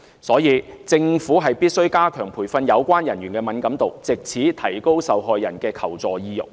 所以，政府必須加強培訓有關人員的敏感度，藉此提高受害人的求助意欲。